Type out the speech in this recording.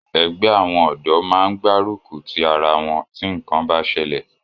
Ẹgbẹ́ àwọn ọ̀dọ́ máa ń gbárùkùtì ara wọn tí ǹkan bá sẹlẹ̀